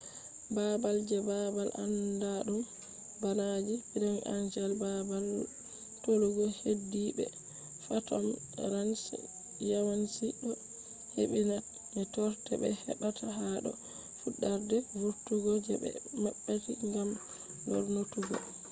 babal je babal anɗaɗum bana je bright angel babal tolugo heddide be phantom ranch yawanci do hebbi na be torde be hebata ha do fuɗarde vurtugo je be mabbiti gam lornutuggo